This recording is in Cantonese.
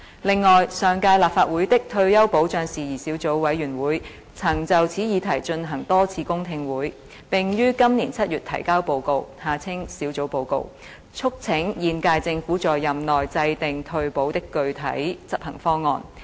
另外，上屆立法會的退休保障事宜小組委員會曾就此議題進行多次公聽會，並於今年7月提交報告，促請現屆政府在任期內制訂退保的具體執行方案。